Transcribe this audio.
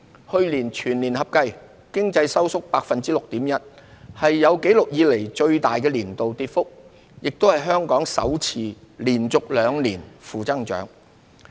去年全年合計，經濟收縮 6.1%， 是有紀錄以來最大的年度跌幅，亦是香港首次連續兩年負增長。